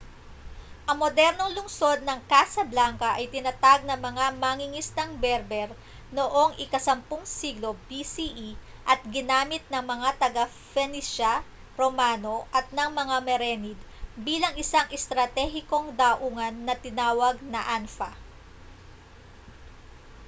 ang modernong lungsod ng casablanca ay itinatag ng mga mangingisdang berber noong ika-10 siglo bce at ginamit ng mga taga-phoenicia romano at ng mga merenid bilang isang estratehikong daungan na tinawag na anfa